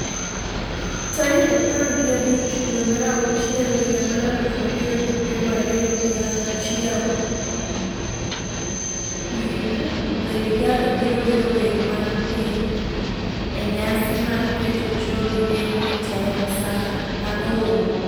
tarik apar gi abich dwe mar achiel higa mar aluf ariyo gi piero ariyo gi achiel Winj, Lady Gaga biro wero wer mar piny e nyasi mar keto Joe Biden e telo sa aboro,